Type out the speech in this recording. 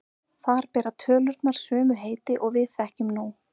Þar bera tölurnar sömu heiti og við þekkjum nú.